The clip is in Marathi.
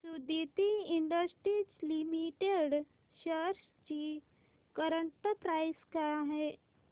सुदिति इंडस्ट्रीज लिमिटेड शेअर्स ची करंट प्राइस काय आहे